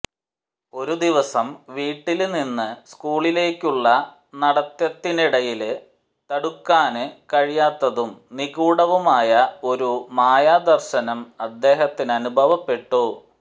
ഒരു ദിവസം വീട്ടില്നിന്ന് സ്കൂളിലേക്കുള്ള നടത്തത്തിനിടയില് തടുക്കാന് കഴിയാത്തതും നിഗൂഢവുമായ ഒരു മായാദര്ശനം അദ്ദേഹത്തിനനുഭവപ്പെട്ടു